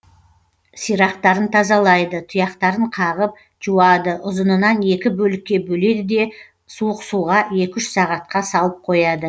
сирақтарын тазалайды тұяқтарын қағып жуады ұзынынан екі бөлікке бөледі де суық суға екі үш сағатқа салып қояды